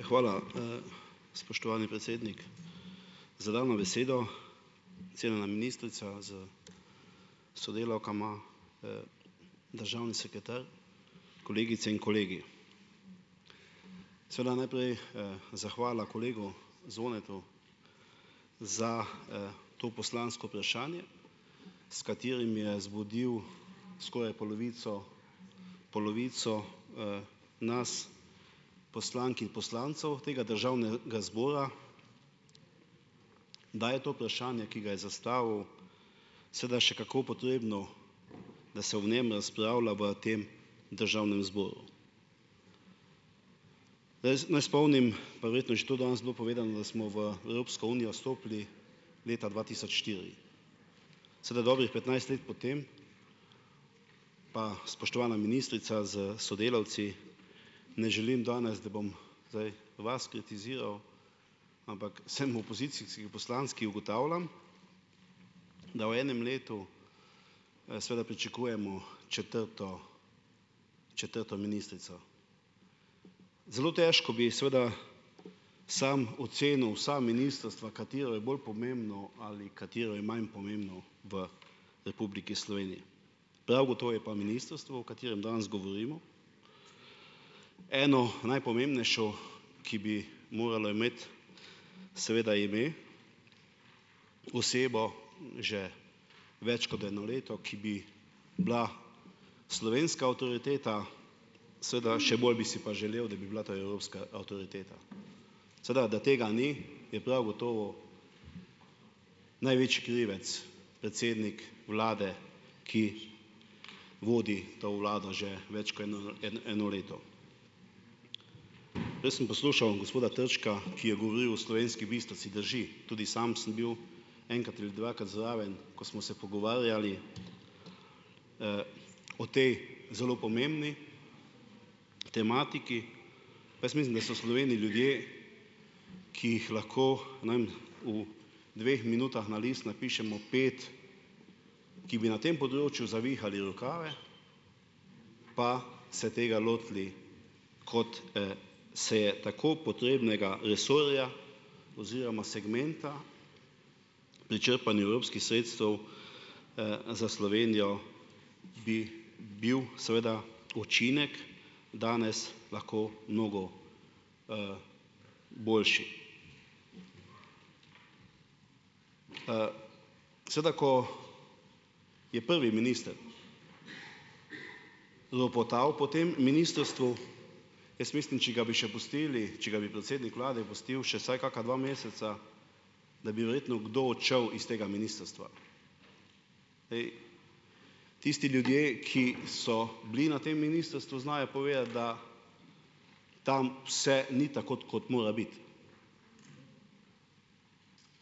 Hvala, spoštovani predsednik, za dano besedo. Cenjena ministrica s sodelavkama, državni sekretar, kolegice in kolegi. Seveda najprej, zahvala kolegu Zvonetu, za, to poslansko vprašanje, s katerim je zbudil skoraj polovico, polovico, nas, poslank in poslancev tega državnega zbora, da je to vprašanje, ki ga je zastavil, seveda še kako potrebno, da se o njem razpravlja v tem državnem zboru. Naj spomnim, pa verjetno je že to danes bilo povedano, da smo v Evropsko unijo stopili leta dva tisoč štiri. Seveda, dobrih petnajst let potem, pa spoštovana ministrica s sodelavci, ne želim danes, da bom zdaj vas kritiziral, ampak sem v opozicijski poslanec, ki ugotavljam, da v enem letu, seveda pričakujemo četrto, četrto ministrico, zelo težko bi, seveda, sam ocenil vsa ministrstva, katero je bolj pomembno ali katero je manj pomembno v Republiki Sloveniji. Prav gotovo je pa ministrstvo, o katerem danes govorimo, eno najpomembnejših, ki bi moralo imeti, seveda ime, osebo, že več kot eno leto, ki bi bila slovenska avtoriteta, seveda, še bolj bi si pa želel, da bi bila ta evropska avtoriteta. Seveda, da tega ni, je prav gotovo krivec predsednik vlade, ki vodi to vlado že več kot eno leto. Prej sem poslušal gospoda Trčka, ki je govoril o Slovenski Bistrci, drži, tudi sam sem bil enkrat ali dvakrat zraven, ko smo se pogovarjali o tej zelo pomembni tematiki. Jaz mislim, da so v Sloveniji ljudje, ki jih lahko najmanj v dveh minutah na list napišemo pet, ki bi na tem področju zavihali rokave pa se tega lotili, kot, se je tako potrebnega resorja, oziroma segmenta pri črpanju evropskih sredstev, za Slovenijo bi bil seveda učinek danes lahko mnogo, boljši. Seveda, ko je prvi minister ropotal po tem ministrstvu, jaz mislim, če ga bi še pustili, če bi ga predsednik vlade pustil še vsaj kaka dva meseca, da bi verjetno kdo odšel iz tega ministrstva. tisti ljudje, ki so bili na tem ministrstvu, znajo povedati, da tam vse ni tako, kot mora biti.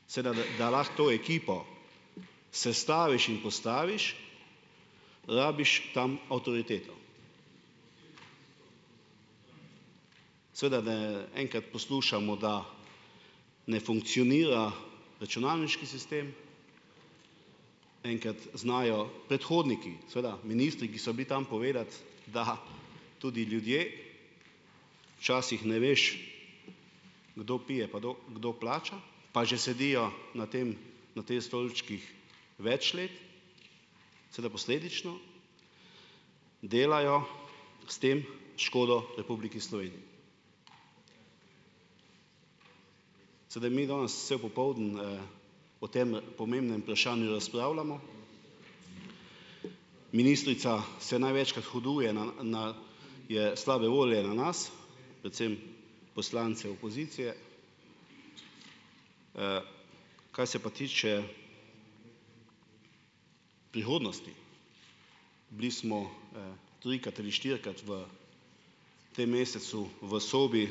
Seveda da lahko to ekipo sestaviš in postaviš, rabiš tam avtoriteto. Seveda, da enkrat poslušamo, da ne funkcionira računalniški sistem, enkrat znajo predhodniki seveda, ministri, ki so bili tam, povedati, da tudi ljudje, včasih ne veš, kdo pije pa kdo kdo plača, pa že sedijo na tem, na te stolčkih več let, seveda posledično delajo s tem škodo Republiki Sloveniji. Seveda mi danes celo popoldne, o tem pomembnem vprašanju razpravljamo, ministrica se največkrat huduje na, na, je slabe volje na nas, predvsem poslance opozicije, kar se pa tiče prihodnosti, bili smo, trikrat ali štirikrat v tem mesecu v sobi,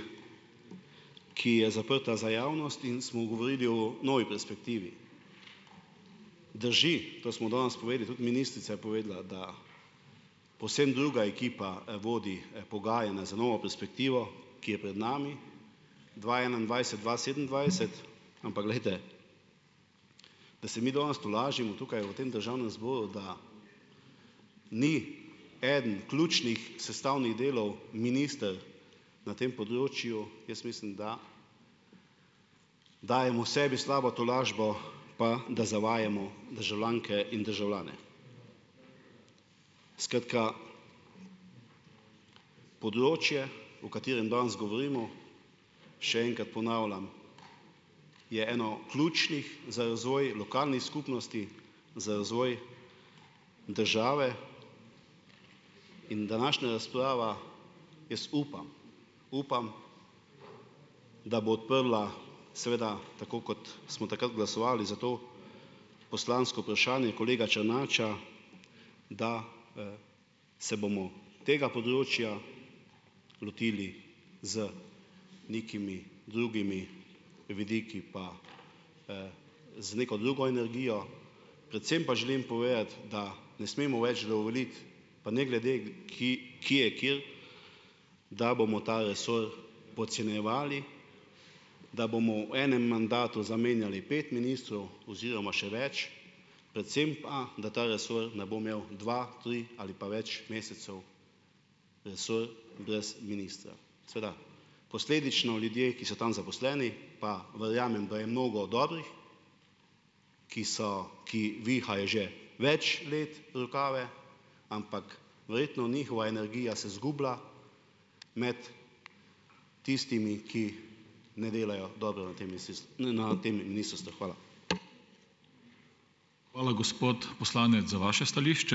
ki je zaprta za javnost, in smo govorili o novi perspektivi. Drži, to smo danes povedali, tudi ministrica je povedala, da povsem druga ekipa, vodi pogajanja za novo perspektivo, ki je pred nami, dva enaindvajset-dva sedemindvajset, ampak glejte, da se mi danes tolažimo tukaj v tem državnem zboru, da ni eden ključnih sestavnih delov minister na tem področju, jaz mislim, da dajemo sebi slabo tolažbo pa da zavajamo državljanke in državljane. Skratka, področje, o katerem danes govorimo, še enkrat ponavljam, je eno ključnih za razvoj lokalnih skupnosti, za razvoj države in današnja razprava, jaz upam, upam, da bo odprla, seveda, tako kot smo takrat glasovali za to poslansko vprašanje kolega Črnača, da se bomo tega področja lotili z nekimi drugimi vidiki pa, z neko drugo energijo, predvsem pa želim povedati, da ne smemo več dovoliti, pa ne glede ki, ki je, ker da bomo ta resor podcenjevali, da bomo v enem mandatu zamenjali pet ministrov, oziroma še več, predvsem pa, da ta resor ne bo imel dva, tri ali pa več mesecev resor brez ministra. Seveda posledično ljudje, ki so tam zaposleni, pa verjamem, da je mnogo dobrih, ki so, ki vihajo že več let rokave, ampak verjetno njihova energija se izgubila med tistimi, ki ne delajo dobro na tem na tem ministrstvu. Hvala.